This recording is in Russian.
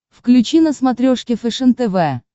включи на смотрешке фэшен тв